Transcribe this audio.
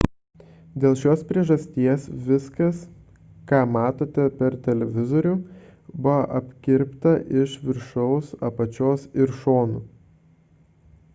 dėl šios priežasties viskas ką matote per televizorių buvo apkirpta iš viršaus apačios ir šonų